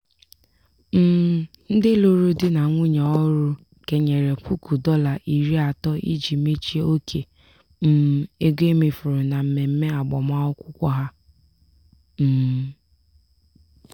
um ndị lụrụ di na nwunye ọhụrụ kenyere puku dọla iri atọ iji mechie oke um ego e mefuru na mmemme agbamakwụkwọ ha. um